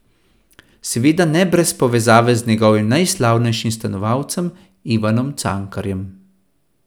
Seveda ne brez povezave z njegovim najslavnejšim stanovalcem, Ivanom Cankarjem.